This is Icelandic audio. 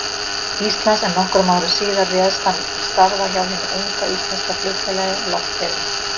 Íslands, en nokkrum árum síðar réðst hann til starfa hjá hinu unga, íslenska flugfélagi, Loftleiðum.